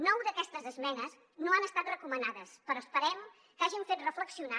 nou d’aquestes esmenes no han estat recomanades però esperem que hagin fet reflexionar